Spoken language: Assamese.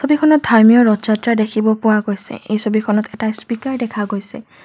ছবিখনত ধাৰ্মীয় ৰথযাত্ৰা দেখিব পোৱা গৈছে এই ছবিখনত এটা স্পিকাৰ দেখা গৈছে।